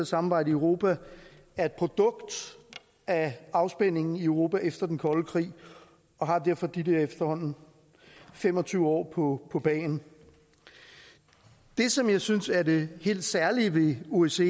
samarbejde i europa er et produkt af afspændingen i europa efter den kolde krig og har derfor de der efterhånden fem og tyve år på på bagen det som jeg synes er det helt særlige ved osce